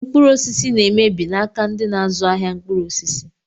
Mkpụrụ osisi na emebi n'aka ndị n'azụ ahịa mkpụrụ osisi.